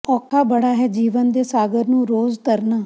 ਔਖਾ ਬੜਾ ਹੈ ਜੀਵਨ ਦੇ ਸਾਗਰ ਨੂੰ ਰੋਜ਼ ਤਰਨਾ